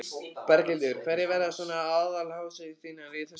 Berghildur: Hverjar verða svona aðaláherslur þínar í þessu hlutverki?